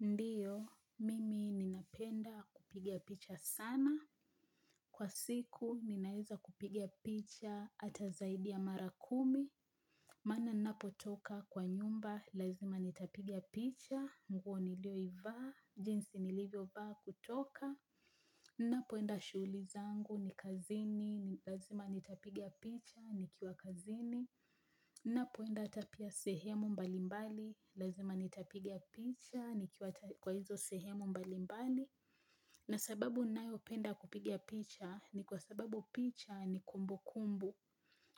Ndiyo, mimi ninapenda kupiga picha sana. Kwa siku, ninaezakupigia picha ata zaidi ya mara kumi. Maana napotoka kwa nyumba, lazima nitapiga picha. Nguo nilioivaa, jinsi nilivyovaa kutoka. Nnapoenda shughuli zangu ni kazini, lazima nitapiga picha, nikiwa kazini. Nnapoenda hata pia sehemu mbalimbali, lazima nitapigia picha. Nikiwa hata kwa hizo sehemu mbali mbali na sababu nayopenda kupiga picha ni kwa sababu picha ni kumbu kumbu